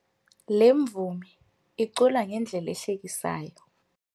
Le mvumi icula ngendlela ehlekisayo.